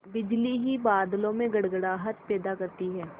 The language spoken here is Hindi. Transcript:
बिजली ही बादलों में गड़गड़ाहट पैदा करती है